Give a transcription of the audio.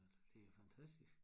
Altså det er fantastisk